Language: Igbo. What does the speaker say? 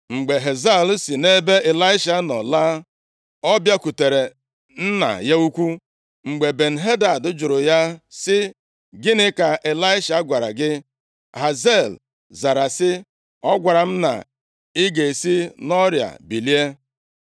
Mgbe Hazael, si nʼebe Ịlaisha nọ laa, ọ bịakwutere nna ya ukwu. Mgbe Ben-Hadad jụrụ ya sị, “Gịnị ka Ịlaisha gwara gị?” Hazael zara sị, “Ọ gwara m na ị ga-esi nʼọrịa bilie.”